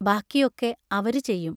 ബാക്കിയൊക്കെ അവരു ചെയ്യും.